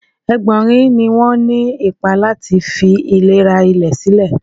Ẹ̀bọ́nrin ni wọ́n ní ipa lati fi ìlera ilẹ̀ sílẹ̀.